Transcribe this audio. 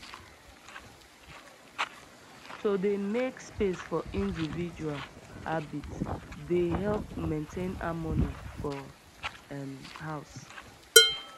to dey make space for individual habits dey help maintain harmony for um house